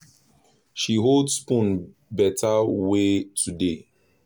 she hold spoon better way today